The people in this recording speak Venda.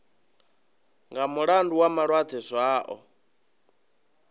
nga mulandu wa malwadze zwao